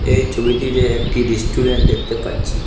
এই ছবিটিতে একটি রেস্টুরেন্ট দেখতে পাচ্ছি।